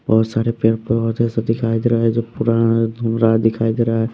बहुत सारे पेड़ पर बहुत ऐसा दिखाई दे रहा है जो पूरा धूम रहा दिखाई दे रहा है।